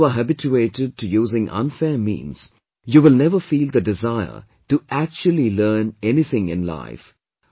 And once you are habituated to using unfair means, you will never feel the desire to actually learn anything in life